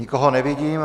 Nikoho nevidím.